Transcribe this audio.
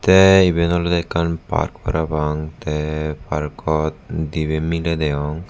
te eben olodey ekkan park parapang te parkot dibey miley degong.